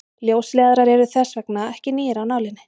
ljósleiðarar eru þess vegna ekki nýir af nálinni